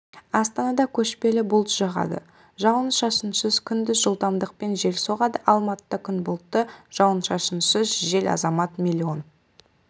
астанада көшпелі бұлт шығады жауын-шашынсыз күндіз жылдамдықпен жел соғады алматыда күн бұлтты жауын-шашынсыз жел азамат миллион